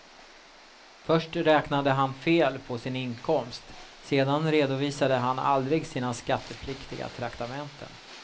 Först räknade han fel på sin inkomst, sedan redovisade han aldrig sina skattepliktiga traktamenten.